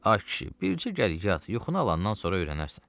Ay kişi, bircə gəl yat, yuxunu alandan sonra öyrənərsən.